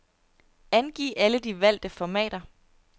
Angiv alle de valgte formater.